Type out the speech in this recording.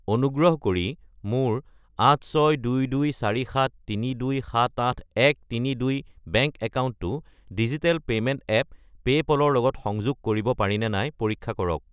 অনুগ্ৰহ কৰি মোৰ 8622473278132 বেংক একাউণ্টটো ডিজিটেল পে'মেণ্ট এপ পে'পল ৰ লগত সংযোগ কৰিব পাৰিনে নাই পৰীক্ষা কৰক।